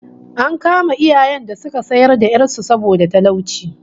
An kama iyayen da suka sayar da 'yar su saboda talauci